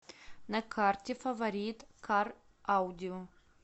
на карте фаворит кар аудио